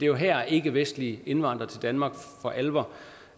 jo her ikkevestlig indvandring til danmark for alvor